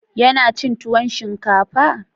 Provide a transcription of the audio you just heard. Ya na cin tuwon shinkafa?